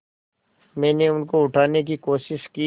मैंने उनको उठाने की कोशिश की